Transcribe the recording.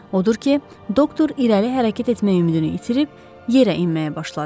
Odur ki, doktor irəli hərəkət etmək ümidini itirib yerə enməyə başladı.